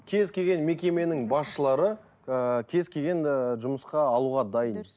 кез келген мекеменің басшылары ыыы кез келген ыыы жұмысқа алуға дайын